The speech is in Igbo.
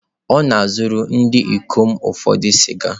Ọ na-azụrụ ndị ikom ụfọdụ sịga.